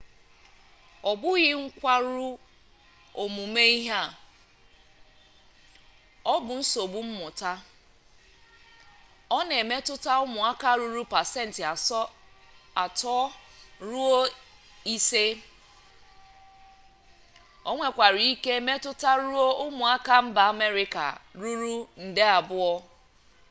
ọ bụghị nkwarụ ọmụmụ ihe ọ bụ nsogbu mmụta ọ na-emetụta ụmụaka ruru pasentị ato ruo ise onwekwara ike metụtaruo ụmụaka mba amerịka ruru nde abụọ